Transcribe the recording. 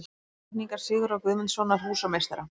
Teikningar Sigurðar Guðmundssonar, húsameistara.